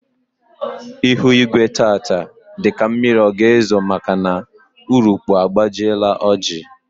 Ihu igwe tata dị ka mmiri ọ ga ezo maka na urukpuru agbajiela oji